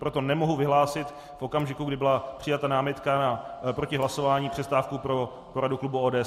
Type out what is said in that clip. Proto nemohu vyhlásit v okamžiku, kdy byla přijata námitka proti hlasování, přestávku pro poradu klubu ODS.